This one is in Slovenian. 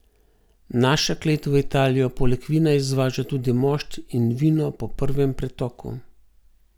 Naša klet v Italijo poleg vina izvaža tudi mošt in vino po prvem pretoku.